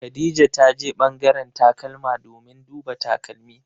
Khadija ta je ɓangaren takalma domin duba takalmi.